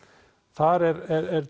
þar er